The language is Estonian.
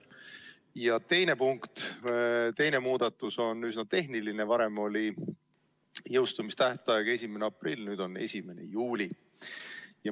Ja teine muudatusettepanek on üsna tehniline: varem oli jõustumise tähtaeg 1. aprill, nüüd on 1. juuli.